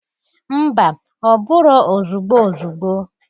Mba! Ọ bụrọ ozugbo ozugbo.